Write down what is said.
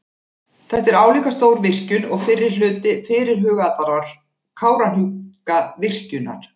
Þetta er álíka stór virkjun og fyrri hluti fyrirhugaðrar Kárahnjúkavirkjunar.